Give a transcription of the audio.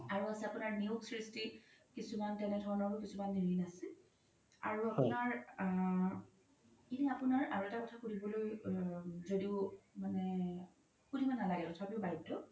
আৰু আছে আপোনাৰ নিয়োগ সৃষ্টি কিছুমান তেনেধনৰও ৰিন আছে আৰু আপোনাৰ আ এইখিনিতে আপোনাৰ আৰু এটা কথা সুধিবলৈ জ্দিও মানে সুধিব নালাগে তথাপিও বাধ্য